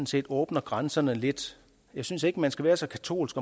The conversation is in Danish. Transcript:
set åbner grænserne lidt jeg synes ikke man skal være så katolsk